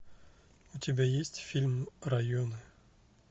у тебя есть фильм районы